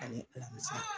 Ani alamisa